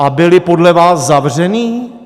A byli podle vás zavření?